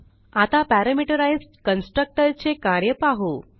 आता parameterised constructor चे कार्य पाहू